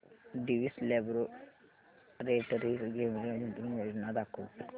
Divi's laboratories limited गुंतवणूक योजना दाखव